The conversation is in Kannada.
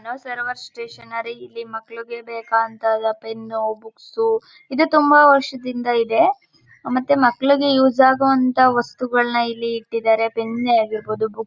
ಸರ್ವರ್ ಸ್ಟೇಷನರಿ ಇಲ್ಲಿ ಮಕ್ಕಳಿಗೆ ಬೇಕಾಗುವಂತಹ ಪೆನ್ನ್ ಬುಕ್ಸ್ ಇದು ತುಂಬಾ ವರ್ಷದಿಂದ ಇದೆ ಮತ್ತೆ ಮಕ್ಕಳಿಗೆ ಯೂಸ್ ಆಗಿರುವಂಥ ವಸ್ತುಗಳನ್ನೇ ಇಲ್ಲಿ ಇಟ್ಟಿದಾರೆ ಪೆನ್ನ್ ಆಗಿರ್ಬಹುದು ಬುಕ್ಸ್